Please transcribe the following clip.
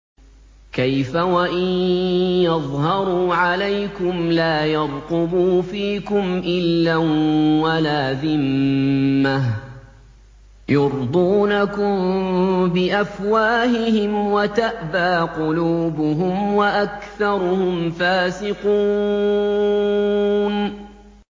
كَيْفَ وَإِن يَظْهَرُوا عَلَيْكُمْ لَا يَرْقُبُوا فِيكُمْ إِلًّا وَلَا ذِمَّةً ۚ يُرْضُونَكُم بِأَفْوَاهِهِمْ وَتَأْبَىٰ قُلُوبُهُمْ وَأَكْثَرُهُمْ فَاسِقُونَ